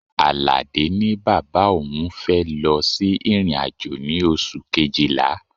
Aládé ní bàbá òun fẹ́ lọ sí ìrìn-àjò ní oṣù Kejìlá.